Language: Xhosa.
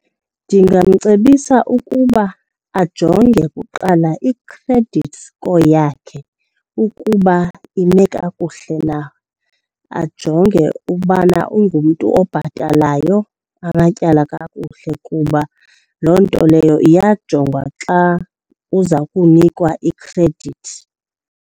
Ndingamcebisa ukuba ajonge kuqala i-credit score yakhe ukuba ime kakuhle na. Ajonge ubana ungumntu obhatalayo amatyala kakuhle kuba loo nto leyo iyajongwa xa uza kunikwa ikhredithi.